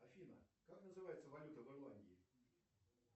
афина как называется валюта в ирландии